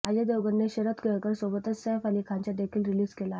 अजय देवगणने शरद केळकर सोबतच सैफ अली खानचा देखील रिलीज केला आहे